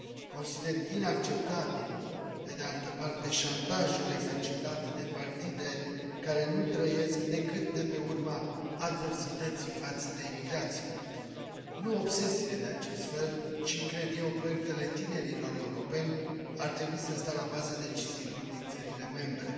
Consider inacceptabil, pe de altă parte, șantajul exercitat de partide care nu trăiesc decât de pe urma adversității față de imigrație. Nu obsesiile de acest fel, ci, cred eu, proiectele tinerilor europeni ar trebui să stea la baza deciziilor din țările membre.